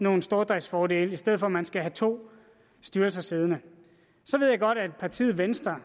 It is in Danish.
nogle stordriftsfordele i stedet for at man skal have to styrelser siddende så ved jeg godt at partiet venstre